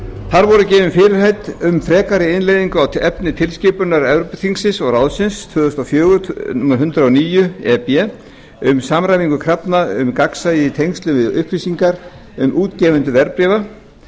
þar voru gefin fyrirheit um frekari innleiðingu á efni tilskipunar evrópuþingsins og ráðsins tvö þúsund og fjögur hundrað og níu e b um samræmingu krafna um gagnsæi í tengslum við upplýsingar um útgefendur verðbréfa sem eru